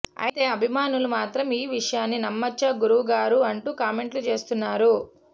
అయితే అభిమానులు మాత్రం ఈ విషయాన్నీ నమ్మొచ్చా గురువు గారు అంటూ కామెంట్లు చేస్తున్నారు